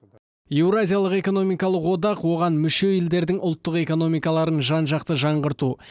еуразиялық экономикалық одақ оған мүше елдердің ұлттық экономикаларын жан жақты жаңғырту